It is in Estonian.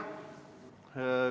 Aitäh!